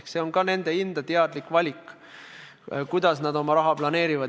Ka see on nende enda teadlik valik, kuidas nad oma raha planeerivad.